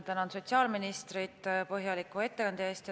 Tänan sotsiaalministrit põhjaliku ettekande eest.